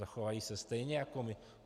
Zachovají se stejně jako my.